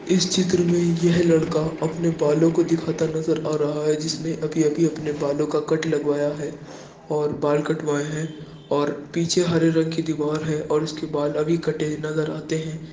इस चित्र में यह लड़का अपने बालों को दीखाता नजर आ रहा है जिसने अभी-अभी अपने बालों का कट लगवाया है और बाल कटवाए है और पीछे हरे रंग की दीवार है और इसके बाल अभी कटे नजर आते है।